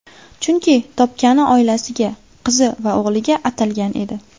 Chunki, topgani oilasiga, qizi va o‘g‘liga atalgan edi.